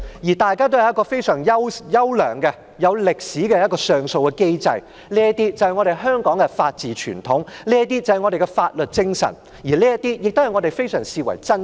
香港具有非常優良、歷史悠久的上訴機制，這反映香港的法治傳統和法律精神，是我們珍視的東西。